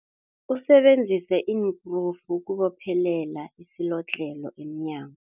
Usebenzise iinkrufu ukubophelela isilodlhelo emnyango.